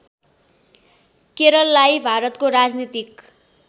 केरललाई भारतको राजनीतिक